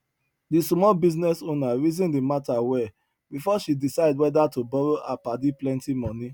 di small business owner reason di matter well before she decide whether to borrow her padi plenty money